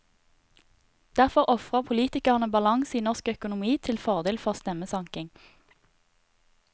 Derfor ofrer politikerne balanse i norsk økonomi til fordel for stemmesanking.